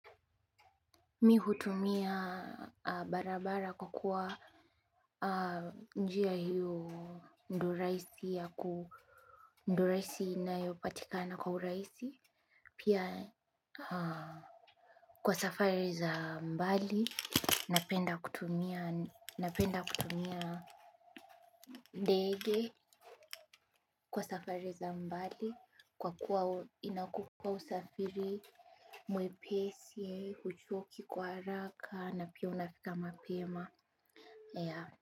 Mihutumia barabara kwa kuwa njia hiyo ndo rahisi yaku ndio rahisi inayopatikana kwa uraisi. Pia kwa safari za mbali napenda kutumia ndege kwa safari za mbali kwa kuwa inakukua usafiri mwepesi huchuoki kwa haraka na pia unafika mapema ya.